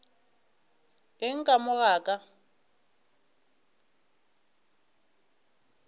eng ka mo ga ka